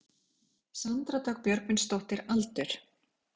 Sandra Dögg Björgvinsdóttir Aldur?